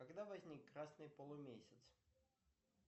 когда возник красный полумесяц